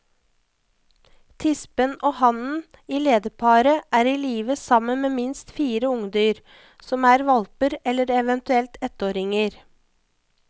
Tispen og hannen i lederparet er i live sammen med minst fire ungdyr, som er hvalper eller eventuelt ettåringer.